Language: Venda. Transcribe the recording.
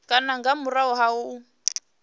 kana nga murahu ha u